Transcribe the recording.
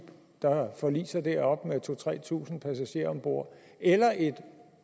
der forliser deroppe med to tusind tre tusind passagerer om bord eller et